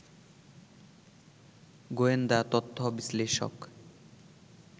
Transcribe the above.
গোয়েন্দা তথ্য বিশ্লেষক